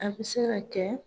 A bɛ se ka kɛ